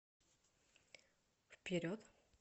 вперед